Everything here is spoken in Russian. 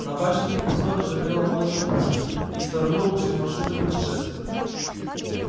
на башне крепостной ржавела молча пушка и стороной ушли маршруты путешествий